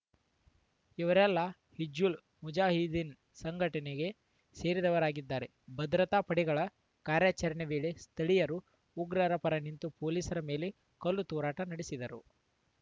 ಇವರೆಲ್ಲ ಹಿಜ್ಬುಲ್‌ ಮುಜಾಹಿದೀನ್‌ ಸಂಘಟನೆಗೆ ಸೇರಿದವರಾಗಿದ್ದಾರೆ ಭದ್ರತಾ ಪಡೆಗಳ ಕಾರ್ಯಾಚರಣೆ ವೇಳೆ ಸ್ಥಳೀಯರು ಉಗ್ರರ ಪರ ನಿಂತು ಪೊಲೀಸರ ಮೇಲೆ ಕಲ್ಲು ತೂರಾಟ ನಡೆಸಿದರು